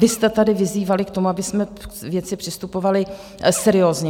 Vy jste tady vyzývali k tomu, abychom k věci přistupovali seriózně.